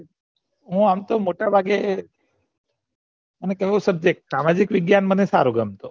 હું અમ તો મોટા ભાગે મને આવો subject સામાજિક વિજ્ઞાન મને સારો ગમે